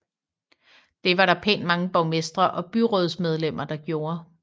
Det var der pænt mange borgmestre og byrådsmedlemmer der gjorde